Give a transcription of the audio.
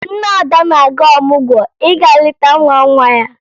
Nne Ada na-aga ọmụgwọ ịga leta nwa nwa ya